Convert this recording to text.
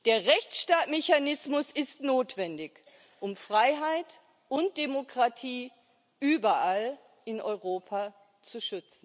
Der Rechtsstaatsmechanismus ist notwendig, um Freiheit und Demokratie überall in Europa zu